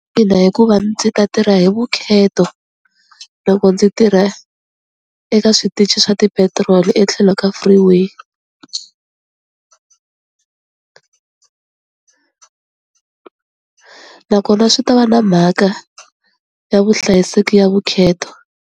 Ina hikuva ndzi ta tirha hi vukheto loko ndzi tirha eka switichi swa ti-petiroli etlhelo ka free way, nakona swi ta va na mhaka ya vuhlayiseki ya vukheto.